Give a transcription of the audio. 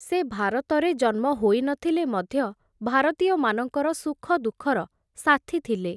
ସେ ଭାରତରେ ଜନ୍ମ ହୋଇ ନ ଥିଲେ ମଧ୍ୟ, ଭାରତୀୟମାନଙ୍କର ସୁଖଦୁଃଖର ସାଥି ଥିଲେ ।